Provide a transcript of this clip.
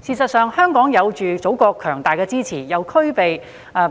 事實上，香港既有祖國強大的支持，又具備